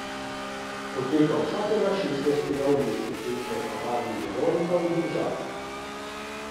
Poteka vsakega šestnajstega v mesecu v Kavarni Veronika v Domžalah.